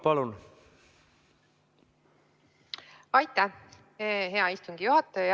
Aitäh, hea istungi juhataja!